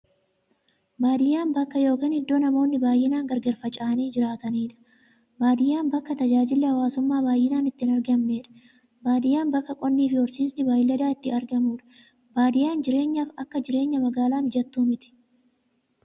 Baadiyyaan bakka yookiin iddoo namoonni baay'inaan gargar faca'anii jiraataniidha. Baadiyyaan bakka tajaajilli hawwaasummaa baay'inaan itti hin argamneedha. Baadiyyaan bakka qonnifi horsiisni beeyladaa itti argamuudha. Baadiyyaan jireenyaaf akka jireenya magaalaa mijattuu miti.